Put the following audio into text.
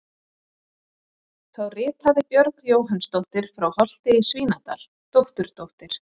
Þá ritaði Björg Jóhannsdóttir frá Holti í Svínadal, dótturdóttir